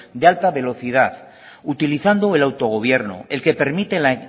de alta velocidad utilizando el autogobierno el que permite la